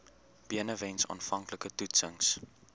benewens aanvanklike toetsings